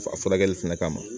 A furakɛli fɛnɛ kama